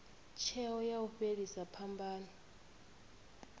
tsheo ya u fhelisa phambano